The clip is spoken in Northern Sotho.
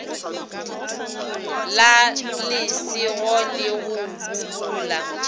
la lesego le go bobola